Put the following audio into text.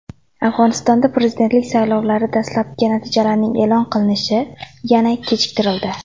Afg‘onistonda prezidentlik saylovlari dastlabki natijalarining e’lon qilinishi yana kechiktirildi.